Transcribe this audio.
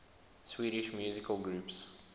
swedish musical groups